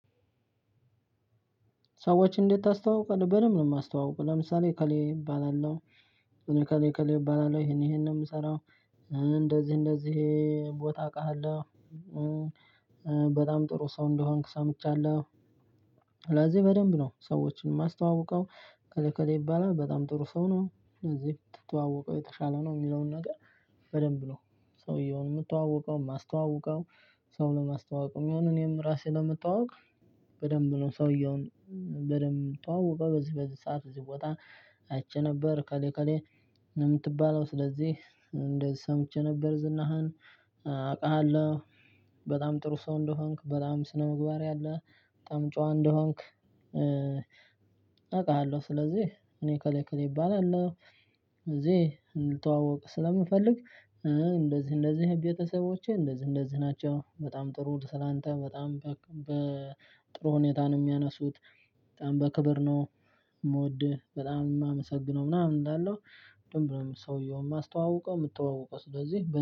ሰዎች እንዴት ታስተዋውቃለህ በደንብ ነው የማስተዋውቀው ለምሳሌ እከሌ እባላለሁ። እሜ እከሌ እከሌ እባላለሁ ይሄን ይሄን ነው የምሰራው። እንደዚህ እንደዚህ ቦታ አውቃለሁ። በጣም ጥሩ ሰው እንደሆንክ ሰምቻለሁ። ስለዚህ በደንብ ነው ሰዎችን የማስተዋውቀው። እከሌ እከሌ ይባላል በጣም ጥሩ ሰው ነው። ስለዚህ ብትተዋወቀው የተሻለ ነው። የሚለውን ነገር በደንብ ነው ሰውየውን የምተዋወቀው የማስተዋወቀው። ሰው ለማስተዋወቅ የሚሆነው እኔም ራሴ ለመተዋወቅ። በደንብ ነው ሰውየውን። በደንብ ምተዋወቀው በዚህ በዚህ ሰዓት እዚህ ቦታ። አይቼ ነበር እከሌ እከሌ ነው ምትባለው። ስለዚህ እንደዚህ ሰምቼ ነበር ዝናህን አቅሃለሁ። በጣም ጥሩ ሰው እንደሆንክ በጣም ስነ ምግባር ያለህ በጣም ጨዋ እንደሆንክ። አቅሃለሁ ስለዚህ እኔ እከሌ ከሌ እባላለሁ እዚህ እንድተዋወቅ ስለምፈልግ። እንደዚህ እንደዚህ ቤተሰቦቼ እንደዚህ እንደዚህ ናቸው። በጣም ጥሩ ስላንተ በጣም በጥሩ ሁኔታ ነው የሚያነሱት። በጣም በክብር ነው። የምወድህ በጣም የማመሰግነው ምናምን እላለው። በደንብ ሰውየውን ማስተዋውቀው ምተዋወቀው ስለዚህ